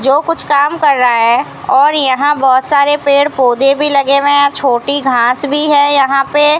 जो कुछ काम कर रहा है और यहां बहोत सारे पेड़ पौधे भी लगे हुए हैं छोटी घास भी है यहां पे।